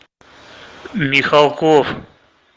михалков